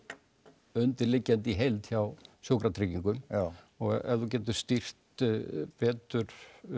undirliggjandi í heild hjá Sjúkratryggingum og ef þú getur stýrt betur